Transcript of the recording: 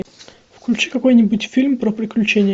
включи какой нибудь фильм про приключения